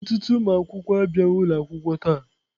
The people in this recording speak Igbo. Ọtụtụ ụmụ akwụkwọ abịaghị ụlọ akwụkwọ taa.